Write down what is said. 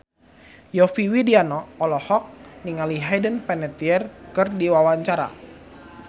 Yovie Widianto olohok ningali Hayden Panettiere keur diwawancara